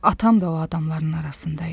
Atam da o adamların arasında idi.